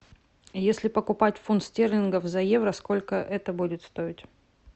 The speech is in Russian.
если покупать фунт стерлингов за евро сколько это будет стоить